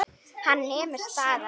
Hann nemur staðar.